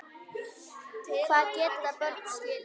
Hvað geta börn skilið?